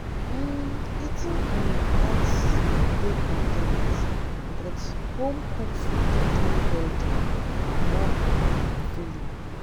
um Eating um out dey convenient, but home-cooked food dey healthier and more um filling.